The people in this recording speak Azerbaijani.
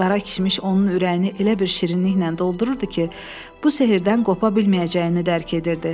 Qara kişmiş onun ürəyini elə bir şirinliklə doldururdu ki, bu sehrdən qopa bilməyəcəyini dərk edirdi.